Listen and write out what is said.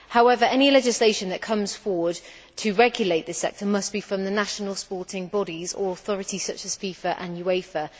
However, any legislation that comes forward to regulate this sector must be from the national sporting bodies or authorities such as FIFA and UEFA.